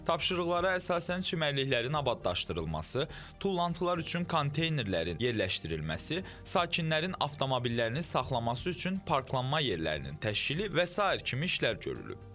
Tapşırıqlara əsasən çimərliklərin abadlaşdırılması, tullantılar üçün konteynerlərin yerləşdirilməsi, sakinlərin avtomobillərini saxlamaq üçün parklanma yerlərinin təşkili və sair kimi işlər görülüb.